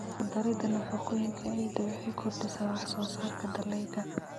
Ku darida nafaqooyinka ciidda waxay kordhisaa wax-soo-saarka dalagyada.